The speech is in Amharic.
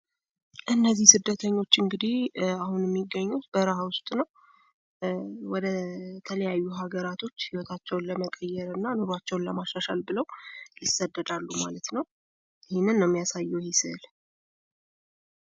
እነዚህ ስደተኞች እንግዲህ አሁን የሚገኙት በረሃ ውስጥ ነው። ወደተለያዩ ሀገራቶች ህይወታቸውን ለመቀየር እና ኑሯቸውን ለማሻሻል ብለው ይሰደዳሉ ማለት ነው። ይህንን ነው የሚያሳየው ይሄ ስዕል።